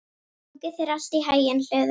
Gangi þér allt í haginn, Hlöður.